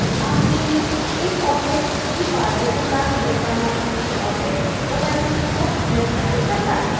masking में एक object की पारदर्शिता या चमक दूसरे object की opacity को निर्धारित करता है